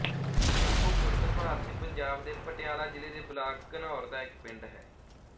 ਸ਼ੰਭੂ ਖੁਰਦ ਭਾਰਤੀ ਪੰਜਾਬ ਦੇ ਪਟਿਆਲਾ ਜ਼ਿਲ੍ਹੇ ਦੇ ਬਲਾਕ ਘਨੌਰ ਦਾ ਇੱਕ ਪਿੰਡ ਹੈ